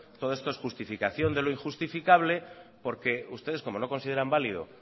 todo esto es justificación de lo injustificable porque ustedes como no consideran válido